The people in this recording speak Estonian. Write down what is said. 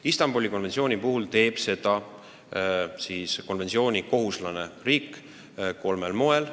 Istanbuli konventsiooniga liitunud riik teeb seda kolmel moel.